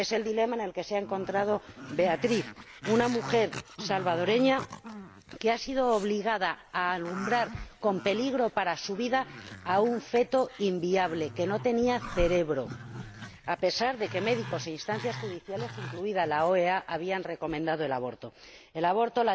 Es el dilema en el que se ha encontrado Beatriz, una mujer salvadoreña que ha sido obligada a alumbrar, con peligro para su vida, a un feto inviable, que no tenía cerebro, a pesar de que médicos e instancias judiciales, incluida la OEA, habían recomendado el aborto.